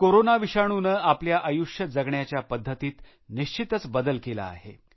corona विषाणूने आपल्या आयुष्य जगण्याच्या पद्धतीत निश्चितच बदल केला आहे